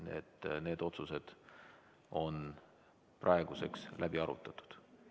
Nii et need otsused on praeguseks läbi arutatud.